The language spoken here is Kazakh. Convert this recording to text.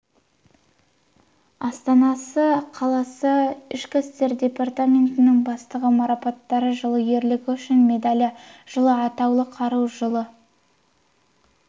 астана қаласы ішкі істер департаментінің бастығы марапаттары жылы ерлігі үшін медалі жылы атаулы қару жылы